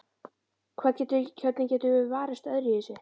Hvernig getum við varist öðruvísi?